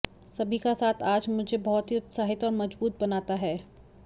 सभी का साथ आज मुझे बहुत ही उत्साहित और मजबूत बनाता हैं